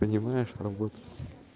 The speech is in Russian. понимаешь работу